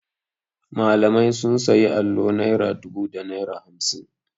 Malamai sun sayi allo naira dubu da naira hamsin.